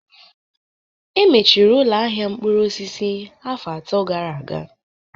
Emechiri ụlọ ahịa mkpụrụ osisi afọ atọ gara aga